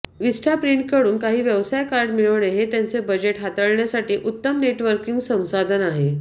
विस्टाप्रिंटकडून काही व्यवसाय कार्ड मिळविणे हे त्यांचे बजेट हाताळण्यासाठी उत्तम नेटवर्किंग संसाधन आहे